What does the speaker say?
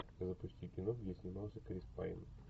запусти кино где снимался крис пайн